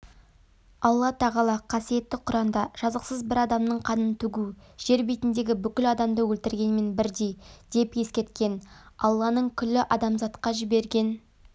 алла тағала қасиетті құранда жазықсыз бір адамның қанын төгу жер бетіндегі бүкіл адамды өлтіргенмен бірдей деп ескерткен алланың күллі адамзатқа жіберген